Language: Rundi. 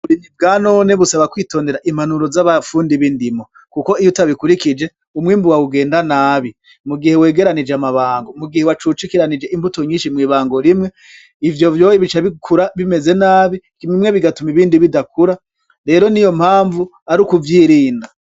Uburimyi bwanone busaba kwitondera impanuro z'abafundi b'indimo, kuko iyo utabikurikije umwimbu wawe ugenda nabi mugihe wegeranije amabango, mugihe wacucikiranije imbuto nyinshi mw'ibango rimwe, ivyo vyohe bica bikura bimeze nabi bimwe bigatuma ibindi bidakura rero niyo mpamvu ari kuvyirinda.